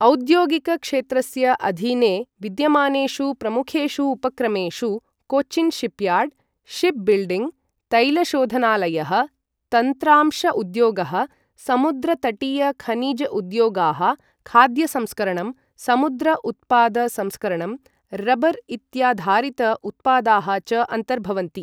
औद्योगिकक्षेत्रस्य अधीने विद्यमानेषु प्रमुखेषु उपक्रमेषु कोचिन् शिपयार्ड्, शिप् बिल्डिङ्, तैलशोधनालयः, तन्त्रांश उद्योगः, समुद्रतटीय खनिज उद्योगाः, खाद्य संस्करणं, समुद्र उत्पाद संस्करणं, रबर् इत्याधारित उत्पादाः च अन्तर्भवन्ति।